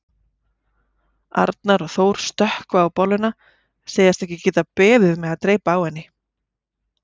Arnar og Þór stökkva á bolluna, segjast ekki geta beðið með að dreypa á henni.